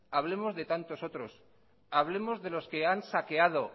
hablemos de tantos otros hablemos de los que han saqueado